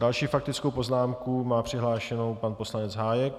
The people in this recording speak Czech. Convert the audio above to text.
Další faktickou poznámku má přihlášenou pan poslanec Hájek.